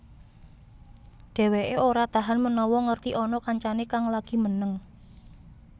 Dheweké ora tahan menawa ngerti ana kancané kang lagi meneng